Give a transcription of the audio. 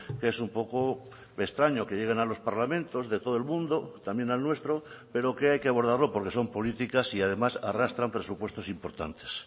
que es un poco extraño que lleguen a los parlamentos de todo el mundo también al nuestro pero que hay que abordarlo porque son políticas y además arrastran presupuestos importantes